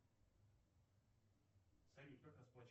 салют как расплачиваться